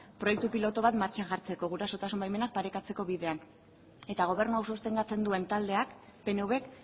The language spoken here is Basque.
proiektu pilotu bat martxan jartzeko gurasotasun baimenak parekatzeko bidean eta gobernu hau sostengatzen duen taldeak pnvk